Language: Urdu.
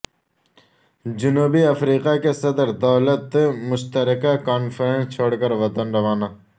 جنوبی افریقا کے صدر دولت مشترکہ کانفرنس چھوڑ کر وطن روانہ